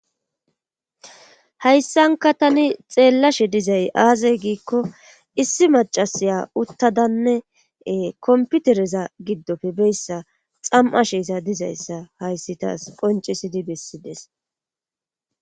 hayssanka tani xeellashe dizay aazey giikko issi macasiya uttadanne komputereza giddofe beyssa xam7asheesa dizayssa hayssi taas qoncisidi bessides.